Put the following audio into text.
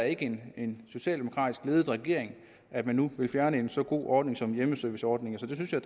ikke en socialdemokratisk ledet regering at man nu vil fjerne en så god ordning som hjemmeserviceordningen så det synes jeg